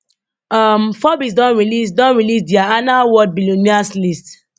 um forbes don release don release dia annual world billionaires list